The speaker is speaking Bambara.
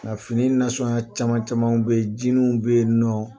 Ka fini caman camanw bɛ jiniw bɛ yen nɔ